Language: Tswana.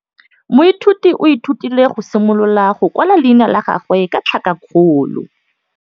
Moithuti o ithutile go simolola go kwala leina la gagwe ka tlhakakgolo.